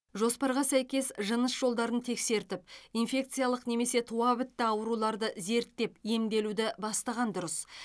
жоспарға сәйкес жыныс жолдарын тексертіп инфекциялық немесе туабітті ауруларды зерттеп емделуді бастаған дұрыс